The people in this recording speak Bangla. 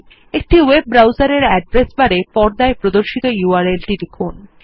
একটি ওয়েব ব্রাউজারের অ্যাড্রেস বারেপর্দায় প্রদর্শিত ইউআরএল টি লিখুন